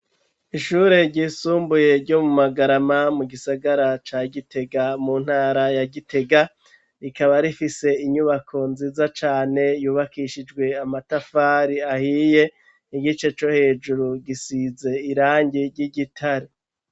Ishuri ryisumbuye ryo mu Magarama mu gisagara ca gitega mu ntara ya gitega rikaba rifise inyubako nziza cane yubakishijwe amatafari ahiye igice co hejuru gisize irangi ry'igitare.